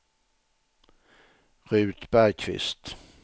Ruth Bergqvist